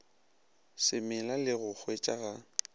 se mela le go hwetšaga